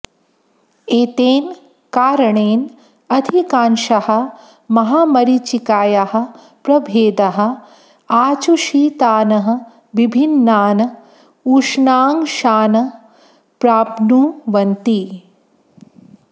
एतेन कारणेन अधिकांशाः महामरीचिकायाः प्रभेदाः आचूषितान् विभिन्नान् उष्णांशान् प्राप्नुवन्ति